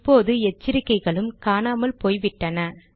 இப்போது எச்சரிக்கைகளும் காணாமல் போய்விட்டன